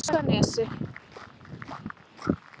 Krossanesi